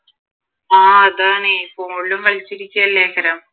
ആഹ് അതാണ് ഫോണിലും കളിച്ചിരിക്കെ അല്ലെ